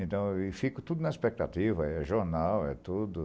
Então, eu fico tudo na expectativa, é jornal, é tudo.